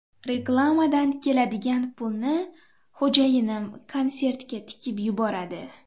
Reklamadan keladigan pulni xo‘jayinim konsertga tikib yuboradi.